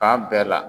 Fan bɛɛ la